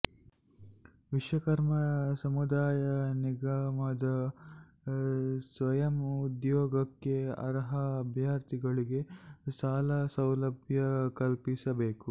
ವಿಶ್ವಕರ್ಮ ಸಮುದಾಯ ನಿಗಮದಡಿ ಸ್ವಯಂ ಉದ್ಯೋಗಕ್ಕೆ ಅರ್ಹ ಅಭ್ಯರ್ಥಿಗಳಿಗೆ ಸಾಲ ಸೌಲಭ್ಯ ಕಲ್ಪಿಸಬೇಕು